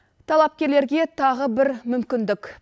талапкерлерге тағы бір мүмкіндік